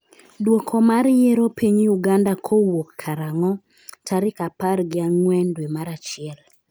dwoko mar yiero piny Uganda kowuok karang'o ? Tarik apar gi ang'wen dwe mar achiel